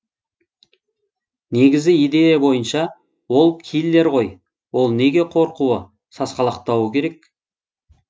негізгі идея бойынша ол киллер ғой ол неге қорқуы сасқалақтауы керек